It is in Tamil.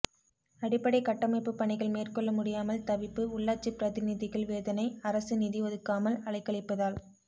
அடிப்படை கட்டமைப்பு பணிகள் மேற்கொள்ள முடியாமல் தவிப்பு உள்ளாட்சி பிரதிநிதிகள் வேதனை அரசு நிதி ஒதுக்காமல் அலைக்கழிப்பதால்